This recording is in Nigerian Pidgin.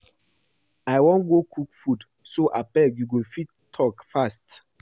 I wan go cook food so abeg you go fit talk fast?